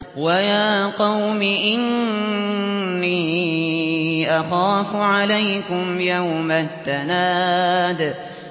وَيَا قَوْمِ إِنِّي أَخَافُ عَلَيْكُمْ يَوْمَ التَّنَادِ